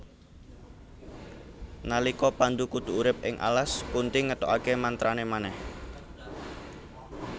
Nalika Pandhu kudu urip ing alas Kunthi ngetokake mantrane manèh